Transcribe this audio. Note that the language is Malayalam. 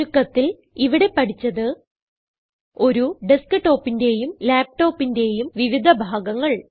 ചുരുക്കത്തിൽ ഇവിടെ പഠിച്ചത് ഒരു desktopന്റേയും laptopന്റേയും വിവിധ ഭാഗങ്ങൾ